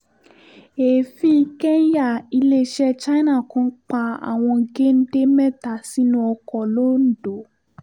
èéfín kẹ́ńyà iléeṣẹ́ china kan pa àwọn géńdé mẹ́ta sínú ọkọ̀ londo